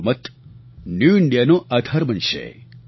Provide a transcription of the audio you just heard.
તમારો મત ન્યૂ ઇન્ડિયાનો આધાર બનશે